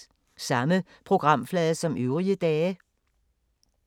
Samme programflade som øvrige dage